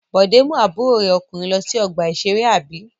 Bọ̀dé mú àbúrò rẹ̀ ọkùnrin lọ sí ọgbà-ìṣeré, àbí?